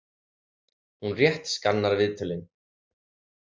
Hún rétt skannar viðtölin.